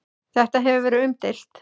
Þetta hefur verið umdeilt.